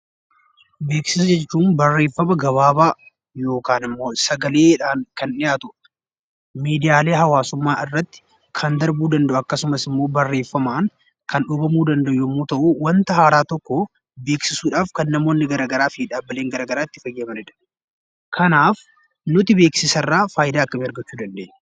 Beeksisa jechuun barreeffama gabaabaa yookaan immoo sagalee dhaan kan dhiyaatu dha. Miidiyaalee haawaasummaa irratti kan darbuu danda'u akkasumas barreeffamaan kan dhoobamuu danda'u yommuu ta'u, wanta haaraa tokko beeksisuudhaaf kan namoonni gara garaaf dhaabbileen gara garaa itti fayyadamani dha. Kanaaf nuti beeksisa irraa faayidaa akkamii argachuu dandeenya?